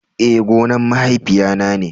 Eh, gonan mahaifiya na ne.